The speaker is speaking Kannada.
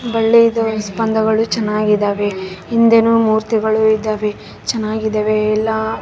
ಬಳ್ಳಿ ಇದು ಸ್ಪಂದಗಳು ಚೆನ್ನಾಗಿದ್ದಾವೆ ಹಿಂದೆನೂ ಮೂರ್ತಿಗಳು ಇದಾವೆ ಚೆನ್ನಾಗಿದಾವೆ ಎಲ್ಲ.